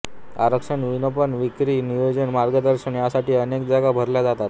आरक्षण विपणन विक्री नियोजन मार्गदर्शन यासाठी अनेक जागा भरल्या जातात